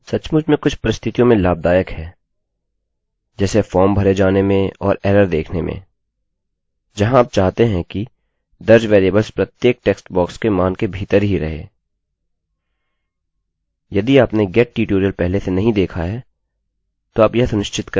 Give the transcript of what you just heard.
अब यह सचमुच में कुछ परिस्थितियों में लाभदायक हैं जैसे फॉर्म भरे जाने में और एरर देखने में जहाँ आप चाहते हैं कि दर्ज वेरिएबल्स प्रत्येक टेक्स्ट बॉक्स के मान के भीतर ही रहे